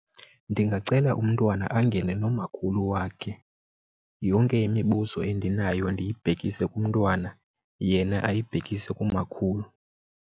Ndingacela umntwana angene nomakhulu wakhe, yonke imibuzo endinayo ndibhekise kumntwana yena ayibhekisele kumakhulu.